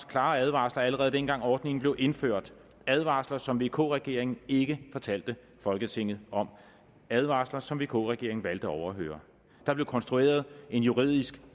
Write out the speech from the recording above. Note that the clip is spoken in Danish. klare advarsler allerede dengang ordningen blev indført advarsler som vk regeringen ikke fortalte folketinget om advarsler som vk regeringen valgte at overhøre der blev konstrueret en juridisk